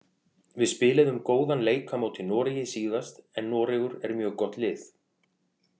Við spiluðum góðan leik á móti Noregi síðast en Noregur er mjög gott lið.